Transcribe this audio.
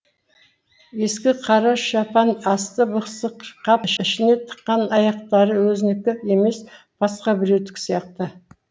ескі қара шапан асты бықсық қап ішіне тыққан аяқтары өзінікі емес басқа біреудікі сияқты